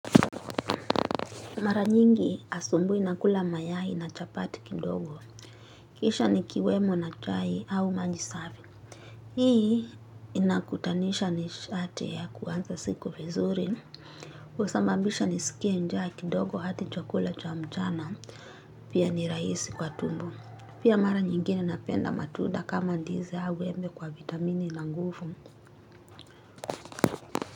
Mara nyingi asubuhi nakula mayai na chapati kidogo. Kisha nikiwemo na chai au maji safi. Hii inakutanisha nishati ya kuanza siku vizuri. Husababisha nisikie njaa kidogo hadi chakula cha mchana. Pia ni rahisi kwa tumbo. Pia mara nyingine napenda matunda kama ndizi au embe kwa vitamini na nguvu.